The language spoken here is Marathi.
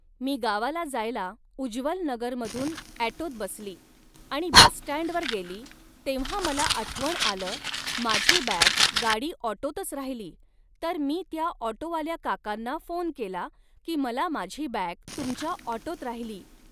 मी गावाला जायला उज्वल नगरमधून ॲटोत बसली आणि बसस्टँडवर गेली तेव्हा मला आठवण आलं माझी बॅग गाडी ऑटोतच राहिली तर मी त्या ऑटोवाल्या काकांना फोन केला की मला माझी बॅग तुमच्या ऑटोत राहिली